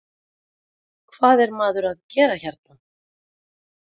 Stóð upp og sagði: Hvað er maður að gera hérna?